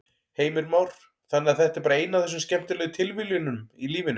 Heimir Már: Þannig að þetta er bara ein af þessum skemmtilegu tilviljunum í lífinu?